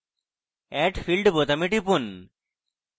add field বোতামে টিপুন